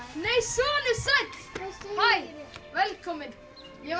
nei sonur sæll hæ velkominn ég var